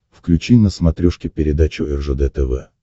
включи на смотрешке передачу ржд тв